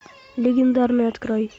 легендарный открой